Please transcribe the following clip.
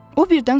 O birdən soruşdu.